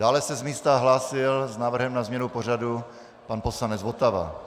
Dále se z místa hlásil s návrhem na změnu pořadu pan poslanec Votava.